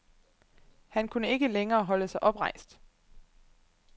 Han kunne ikke længere holde sig oprejst.